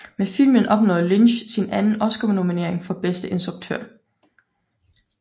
Med filmen opnåede Lynch sin anden Oscarnominering for bedste instruktør